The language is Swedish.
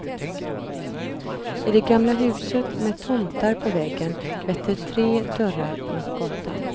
I det gamla huset med tomtar på väggen vetter tre dörrar mot gatan.